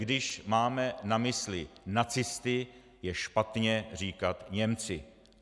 Když máme na mysli nacisty, je špatně říkat Němci.